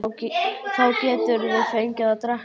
Þá geturðu fengið að drekka.